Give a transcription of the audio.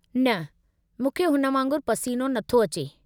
न, मूंखे हुन वांगुरु पसीनो नथो अचे।